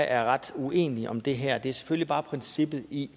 er ret uenige om det her stræk det er selvfølgelig bare princippet i